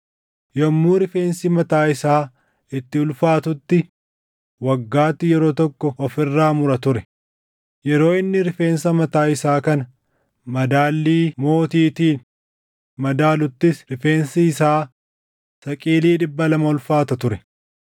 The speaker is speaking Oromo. Yommuu rifeensi mataa isaa itti ulfaatutti waggaatti yeroo tokko of irraa mura ture; yeroo inni rifeensa mataa isaa kana madaalli mootiitiin madaaluttis rifeensi isaa saqilii dhibba lama ulfaata ture.